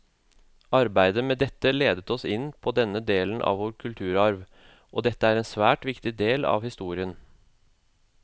Arbeidet med dette ledet oss inn på denne delen av vår kulturarv, og dette er en svært viktig del av historia.